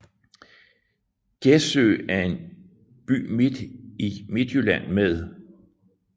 Gjessø er en by i Midtjylland med